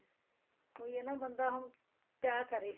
ਉਹੀ ਹੈ ਨਾ ਬੰਦਾ ਹੁਣ ਕਿਆ ਕਰੇ